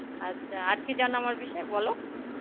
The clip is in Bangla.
আচ্ছা, আর কি জানো আমার বিষয়ে বলো.